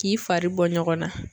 K'i fari bɔ ɲɔgɔn na.